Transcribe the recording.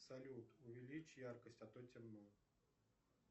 салют увеличь яркость а то темно